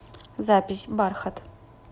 запись бархат